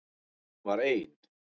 En hún var ein.